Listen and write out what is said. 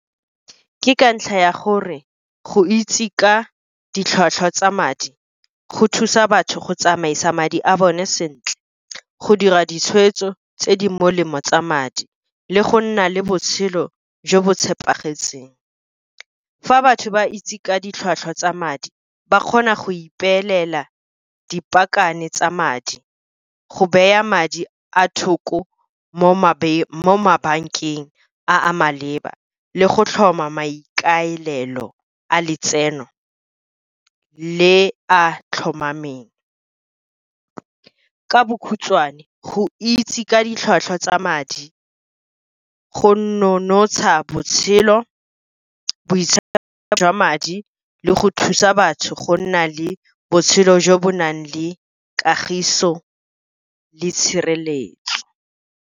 Ke ka ntlha ya gore go itse ka ditlhwatlhwa tsa madi go thusa batho go tsamaisa madi a bone sentle, go dira ditshweetso tse di molemo tsa madi, le go nna le botshelo jo bo tshepagetseng. Fa batho ba itse ka ditlhwatlhwa tsa madi, ba kgona go ipeelela dipakane tsa madi, go baya madi a thoko mo mabankeng a maleba, le go tlhoma maikaelelo a letseno le a tlhomameng. Ka bokhutswane, go itse ka ditlhwatlhwa tsa madi go nonotsha botshelo jwa madi le go thusa batho go nna le botshelo jo bo nang le kagiso le tshireletso.